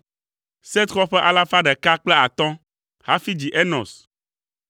Set xɔ ƒe alafa ɖeka kple atɔ̃ (105) hafi dzi Enos.